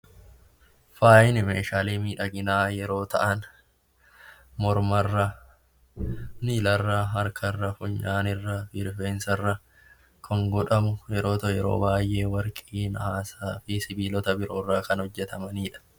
Faayi Meeshaalee miidhaginaa yeroo ta'an, morma irra, harka irra, miila irra, funyaan irra, rifeensa irra kan godhamu yeroo baayyee warqii, naasaa fi sibiilota biroo irraa kan hojjetamaniidha.